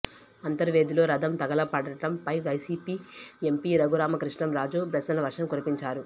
అంతర్వేదిలో రథం తగలపడటంపై వైసీపీ ఎంపీ రఘురామ కృష్ణం రాజు ప్రశ్నల వర్షం కురిపించారు